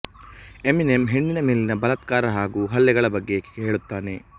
Eminem ಹೆಣ್ಣಿನ ಮೇಲಿನ ಬಲಾತ್ಕಾರ ಹಾಗು ಹಲ್ಲೆಗಳ ಬಗ್ಗೆ ಹೇಳುತ್ತಾನೆ